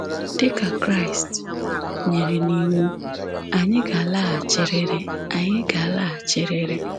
Dị ka Kraịst nyere n'iwu, anyị ga-alaghachirịrị. anyị ga-alaghachirịrị.